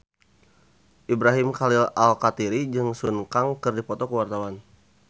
Ibrahim Khalil Alkatiri jeung Sun Kang keur dipoto ku wartawan